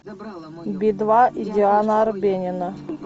би два и диана арбенина